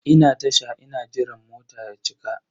Ina Tasha ina jiran mota ya cika.